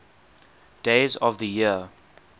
days of the year